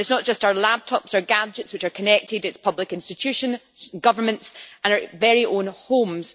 And it is not just our laptops or gadgets which are connected, it is public institutions, governments and our very own homes.